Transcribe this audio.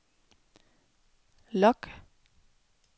log